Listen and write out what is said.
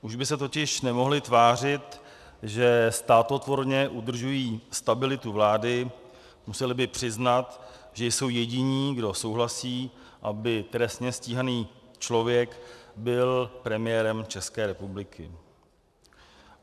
Už by se totiž nemohli tvářit, že státotvorně udržují stabilitu vlády, museli by přiznat, že jsou jediní, kdo souhlasí, aby trestně stíhaný člověk byl premiérem České republiky.